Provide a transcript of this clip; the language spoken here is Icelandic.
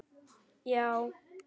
Já!